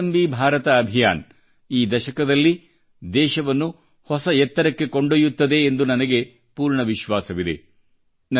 ಸ್ವಾವಲಂಬಿ ಭಾರತ ಅಭಿಯಾನ ಈ ದಶಕದಲ್ಲಿ ದೇಶವನ್ನು ಹೊಸ ಎತ್ತರಕ್ಕೆ ಕೊಂಡೊಯ್ಯುತ್ತದೆ ಎಂದು ನನಗೆ ಪೂರ್ಣ ವಿಶ್ವಾಸವಿದೆ